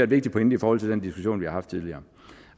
vigtig pointe i forhold til den diskussion vi har haft tidligere